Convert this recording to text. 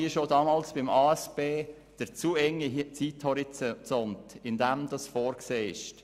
Wie schon damals bei der ASP kritisieren wir aber den zu engen Zeithorizont.